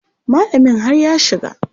Malamin har ya shiga.